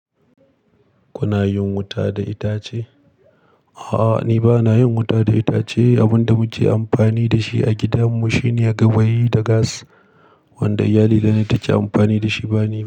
Kuna yin wuta da itace? A'a, ni ba na yin wuta da itace. Abin da muke amfani da shi a gidan mu shine gawayi da gas. Wanda iyalina ne take amfani da shi, ba ni ba.